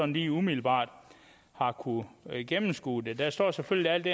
lige umiddelbart har kunnet gennemskue det der står selvfølgelig alt det